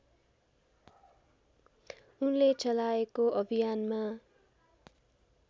उनले चलाएको अभियानमा